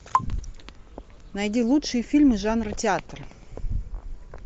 найди лучшие фильмы жанра театр